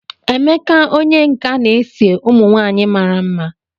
Emeka onye nka na-ese ụmụ nwanyị mara mma.